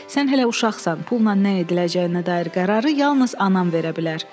Sən hələ uşaqsan, pulla nə ediləcəyinə dair qərarı yalnız anam verə bilər.